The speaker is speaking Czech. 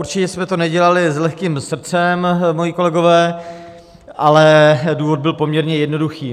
Určitě jsme to nedělali s lehkým srdcem, moji kolegové, ale důvod byl poměrně jednoduchý.